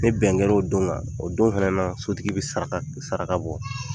Ni bɛn kɛra o don kan,o don fɛnɛ na sotigi bɛ saraka bɔ.